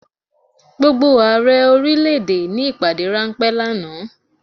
Gbogbo Ààrẹ orílẹ̀ èdè ní ìpàdé ráńpẹ́ lánàá.